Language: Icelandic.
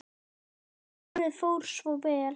Og hárið fór svo vel!